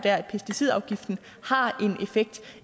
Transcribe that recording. at pesticidafgiften har